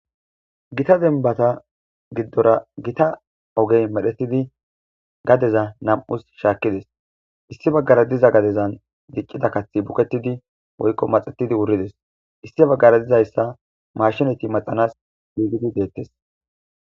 Gita dembata gidora gita oge medhetidi gadeza nam'as shaakides issi bagara diza gadezan dicida kathi buketidi woyko maxetidi wurides issi bagara dizaysa maashineti maxanasi yishe deetes.